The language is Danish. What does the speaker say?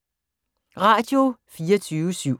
Radio24syv